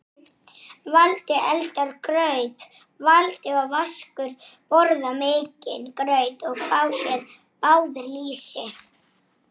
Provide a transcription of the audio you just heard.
Letrað var mitt blað.